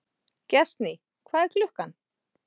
Gestný, hvað er klukkan?